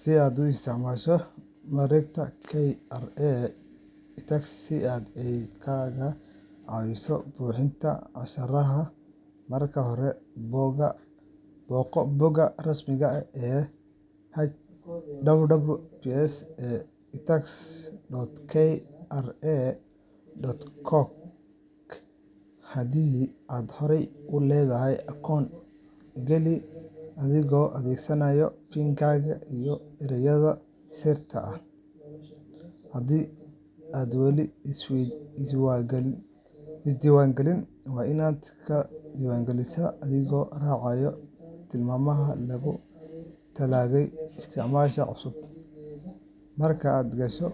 Si aad u isticmaasho mareegta KRA iTax si ay kaaga caawiso buuxinta canshuuraha, marka hore booqo bogga rasmiga ah ee https://itax.kra.go.ke. Haddii aad horey u leedahay akoon, geli adigoo adeegsanaya PIN-kaaga iyo erayga sirta ah. Haddii aadan weli isdiiwaangelin, waa inaad iska diiwaangelisaa adigoo raacaya tilmaamaha loogu talagalay isticmaaleyaasha cusub. Marka aad gasho,